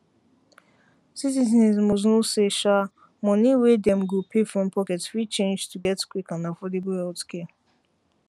citizens must know say um money wey dem go pay from pocket fit change to get um quick and affordable healthcare